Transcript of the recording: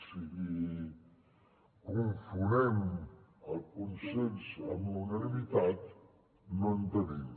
si confonem el consens amb la unanimitat no en tenim